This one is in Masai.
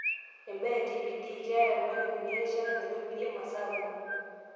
Imbaa e TPD: keeta irmalimuni erishata naitobirie masaa kumok.